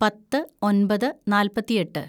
പത്ത് ഒന്‍പത് നാല്‍പത്തിയെട്ട്‌